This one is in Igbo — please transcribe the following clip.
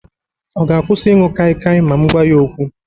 Ọ ga-akwụsị ịṅụ kaikai ma m gwa ya okwu?